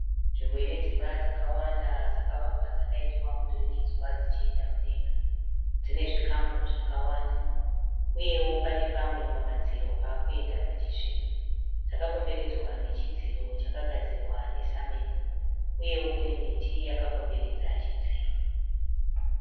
Nzvimbo ine dzimba dzakawanda dzakavakwa dzakaitwa mudurikidzwa dzichienda mudenga . Dzine zvikamu zvakawanda. Uyewo pane pamwe pamadziro pavakuenda pachisviba. Dzakakomberedzwa nechidziro chakagadzirwa nesamende. Uyewo Kune miti yakakomberedza chidziro